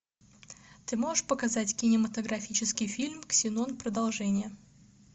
ты можешь показать кинематографический фильм ксенон продолжение